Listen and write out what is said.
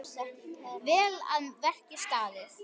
Vel að verki staðið!